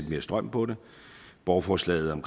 mere strøm på det borgerforslaget om